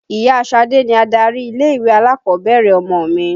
Ìya Ṣadé ni adarí ilé-ìwé alákọ̀ọ́bẹ̀rẹ̀ ọmọ mi.